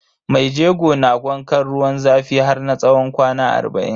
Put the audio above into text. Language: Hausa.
Maijego na wankan ruwan zafi har na tsawon kwana arba'in.